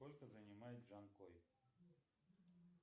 сколько занимает джанкой